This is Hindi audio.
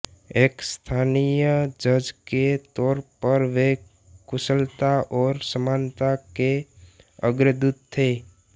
एक स्थानीय जज के तौर पर वे कुशलता और समानता के अग्रदूत थे